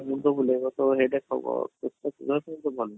ମୁଣ୍ଡ ବୁଲେଇବ ତ headache ହବ morning